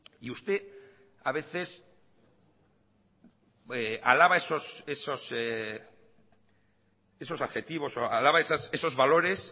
y usted a veces alaba esos adjetivos o alaba esos valores